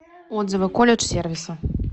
отзывы колледж сервиса